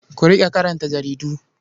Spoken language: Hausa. Ku riƙa karanta jaridu.